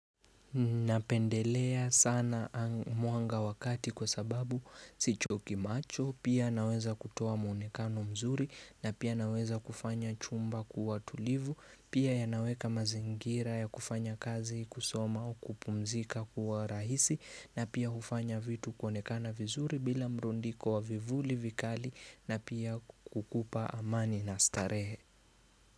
Napendelea sana muanga wakati kwa sababu si choki macho pia naweza kutowa muonekano mzuri na pia naweza kufanya chumba kuwa tulivu pia ya naweka mazingira ya kufanya kazi kusoma o kupumzika kuwa rahisi na pia hufanya vitu kuonekana vizuri bila mrundiko wa vivuli vikali na pia kukupa amani na starehe.